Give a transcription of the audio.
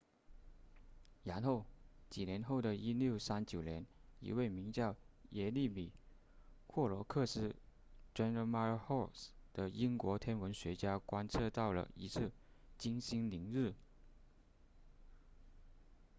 然后几年后的1639年一位名叫耶利米霍罗克斯 jeremiah horrocks 的英国天文学家观测到了一次金星凌日